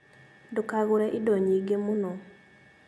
Ndũkagũre indo nyingĩ mũno